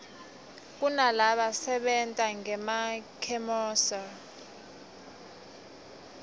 kunalaba sebentangema khemosra